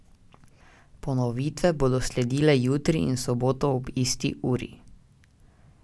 Ponovitve bodo sledile jutri in v soboto ob isti uri.